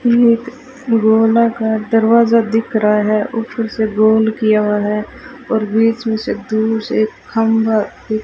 ये एक गोलाकार दरवाजा दिख रहा है ऊपर से गोल किया हुआ है और बीच में दूर से खंभा --